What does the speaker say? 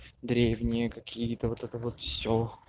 древние какие-то вот это вот все